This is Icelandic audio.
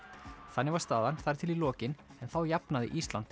þannig var staðan þar til í lokin en þá jafnaði Ísland